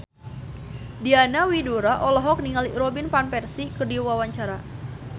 Diana Widoera olohok ningali Robin Van Persie keur diwawancara